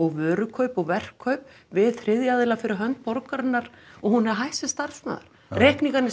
og vörukaup og verkkaup við þriðja aðila fyrir hönd borgarinnar og hún er hætt sem starfsmaður reikningarnir